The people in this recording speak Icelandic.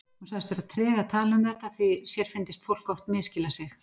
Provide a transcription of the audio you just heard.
Hún sagðist vera treg að tala um þetta því sér fyndist fólk oft misskilja sig.